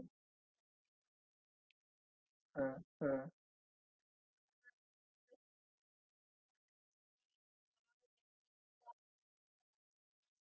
thirte thousand आपण पकडु याची figure तर तीस हजाराचा fridge आहे sir तर आता झालाय असं कि या technic चा आमच्याकडे हा last pic होता